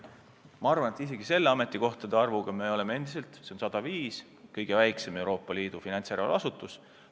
Aga ma arvan, et isegi praeguse ametikohtade arvuga – see on 105 – oleme endiselt kõige väiksem Euroopa Liidu finantsjärelevalve asutus.